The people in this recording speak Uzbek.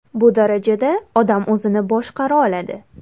Bu darajada odam o‘zini boshqara oladi.